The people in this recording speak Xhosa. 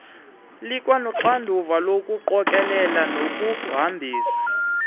likwanoxanduva lokuqokelela nokuhambisa